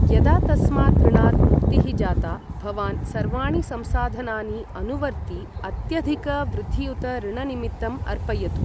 यदा तस्मात् ऋणात् मुक्तिः जाता, भवान् सर्वाणि संसाधनानि अनुवर्ति अत्यधिकवृद्धियुत ऋणनिमित्तम् अर्पयतु।